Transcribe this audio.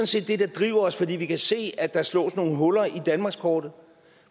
set det der driver os for vi kan se at der slås nogle huller i danmarkskortet